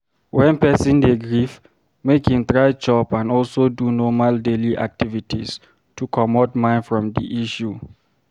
When person dey grief, make im try chop and also do normal daily activities to comot mind from di issue